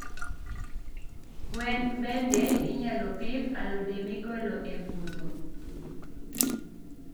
gwen mbende inyalo pidh alode migolo e pudho.